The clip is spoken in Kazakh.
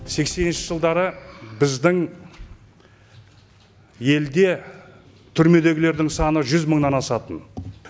сексенінші жылдары біздің елде түрмедегілердің саны жүз мыңнан асатын